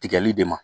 Tigɛli de ma